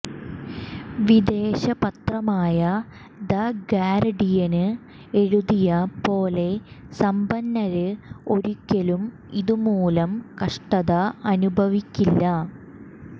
വിദേശ പത്രമായ the Guardian എഴുതിയ പോലെ സമ്പന്നര് ഒരിക്കലും ഇതുമൂലം കഷ്ടത അനുഭവിക്കില്ല